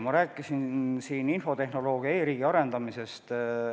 Ma rääkisin siin infotehnoloogia, e-riigi arendamisest.